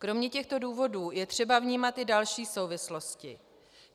Kromě těchto důvodů je třeba vnímat i další souvislosti.